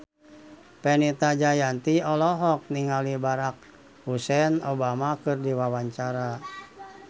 Fenita Jayanti olohok ningali Barack Hussein Obama keur diwawancara